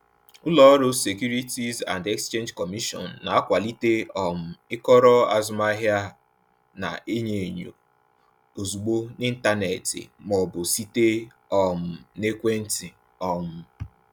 Ụlọ ọrụ Securities and Exchange Commission na-akwalite um ịkọrọ azụmahịa a na-enyo enyo ozugbo n’ịntanetị ma ọ bụ site um n’ekwentị. um